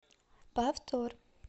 повтор